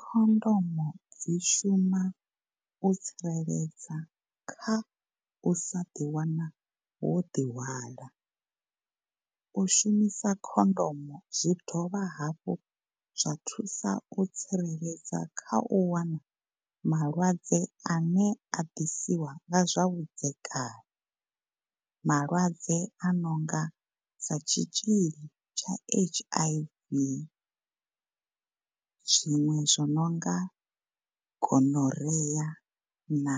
Khondomo dzi shuma u tsireledza kha u sa ḓi wana wo ḓi hwala. U shumisa khondomo zwi dovha hafhu zwa thusa u tsireledza kha u wana malwadze ane a ḓisiwa nga zwa vhudzekani. Malwadze a no nga sa tshitzhili tsha H_I_V zwiṅwe zwi no nga Gonorrhea na